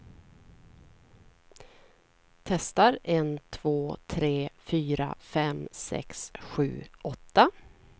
Testar en två tre fyra fem sex sju åtta.